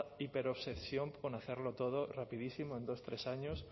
hiperobsesión por hacerlo todo rapidísimo en dos tres años